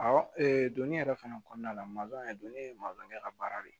donni yɛrɛ fana kɔnɔna la maliyɛn donni ye ka baara de